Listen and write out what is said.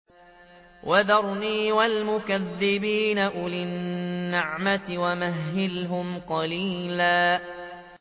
وَذَرْنِي وَالْمُكَذِّبِينَ أُولِي النَّعْمَةِ وَمَهِّلْهُمْ قَلِيلًا